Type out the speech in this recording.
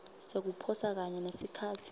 sekuposa kanye nesikhatsi